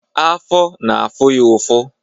Afọ na-afụ ya ụfụ.